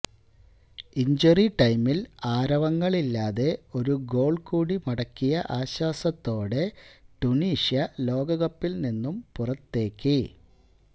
injury ടൈമില് ആരവങ്ങളില്ലാതെ ഒരു ഗോള് കൂടി മടക്കിയ ആശ്വാസത്തോടെ ടുണീഷ്യ ലോകകപ്പില് നിന്ന് പുറത്തേക്ക്